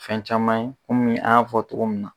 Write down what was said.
Fɛn caman ye munnu an ya fɔ togo mun na.